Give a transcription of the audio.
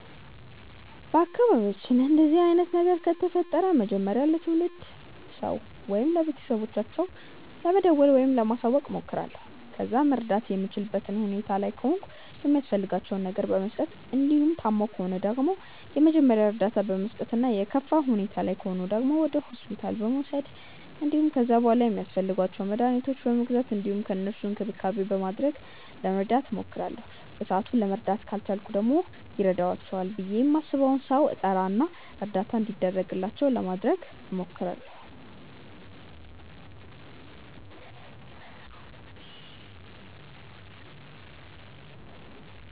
በአካባቢያችን እንደዚህ አይነት ነገር ከተፈጠረ መጀመሪያ ለትልቅ ሰው ወይም ለቤተሰቦቻቸው ለመደወል ወይም ለማሳወቅ እሞክራለሁ። ከዛ መርዳት የምችልበት ሁኔታ ላይ ከሆንኩ የሚያስፈልጋቸውን ነገር በመስጠት እንዲሁም ታመው ከሆነ ደግሞ የመጀመሪያ እርዳታ በመስጠት እና የከፋ ሁኔታ ላይ ከሆኑ ደግሞ ወደ ሆስፒታል በመውሰድ እንዲሁም ከዛ በሗላ ሚያስፈልጓቸውን መድኃኒቶች በመግዛት እንዲሁም ለእነሱም እንክብካቤ በማድረግ ለመርዳት እሞክራለሁ። በሰአቱ ለመርዳት ካልቻልኩ ደግሞ ይረዳቸዋል ብዬ ማስበውን ሰው እጠራ እና እርዳታ እንዲደረግላቸው ለማድረግ እሞክራለሁ።